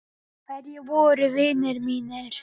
Hverjir voru vinir mínir?